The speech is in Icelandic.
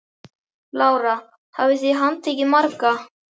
Lára: Hvað hafið þið handtekið marga?